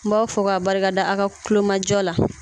N b'aw fɔ k'aw barikada aw ka kulomajɔ la